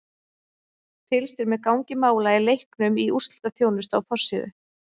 Fylgst er með gangi mála í leiknum í úrslitaþjónustu á forsíðu.